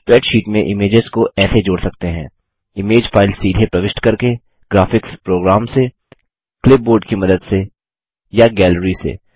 spreadsheet में images को ऐसे जोड़ सकते हैं इमेज फाइल सीधे प्रविष्ट करके ग्राफिक्स प्रोग्राम से क्लिपबोर्ड की मदद से या गैलरी से